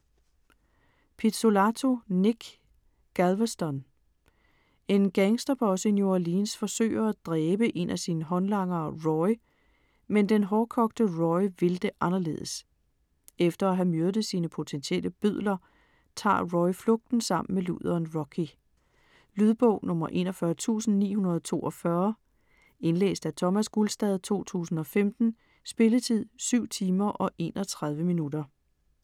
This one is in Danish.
Pizzolatto, Nic: Galveston En gangsterboss i New Orleans forsøger at dræbe en af sine håndlangere Roy, men den hårdkogte Roy vil det anderledes. Efter at have myrdet sine potentielle bødler, tager Roy flugten sammen med luderen Rocky. Lydbog 41942 Indlæst af Thomas Gulstad, 2015. Spilletid: 7 timer, 31 minutter.